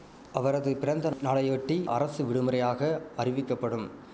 அவரது பிறந்த நாளையொட்டி அரசு விடுமுறையாக அறிவிக்கப்படும்